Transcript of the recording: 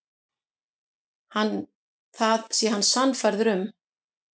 Það sé hann sannfærður um.